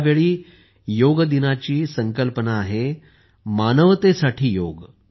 यावेळी योग दिवसाची संकल्पना आहे मानवतेसाठी योग